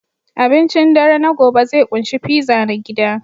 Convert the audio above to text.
Abincin dare na gobe zai ƙunshi pizza na gida